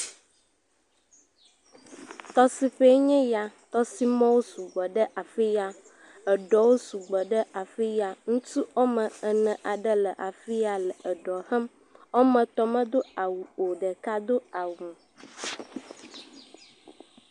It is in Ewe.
Tɔsisi ye nye ya. Tɔsimɔwo sugbɔ ɖe afiya. Eɖɔwo sugbɔ ɖe afiya. Ŋutsu wo ame ene aɖewo le afiya le eɖɔ hem. Wòa me etɔwo me Do awu o. Ɖeka Do awu.